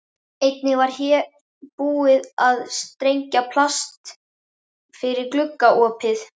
Einnig hér var búið að strengja plast fyrir gluggaopið.